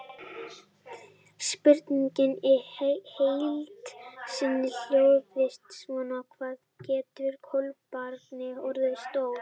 Spurningin í heild sinni hljóðaði svona: Hvað geta kolkrabbar orðið stórir?